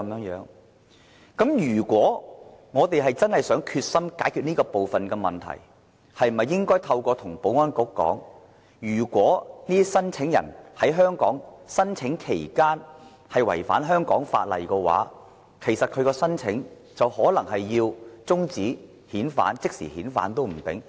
如果我們真的決心解決這方面的問題，是否應該向保安局提出，如果這些聲請人在香港申請期間違反香港法例的話，他的申請就可能要終止，甚至要即時遣返。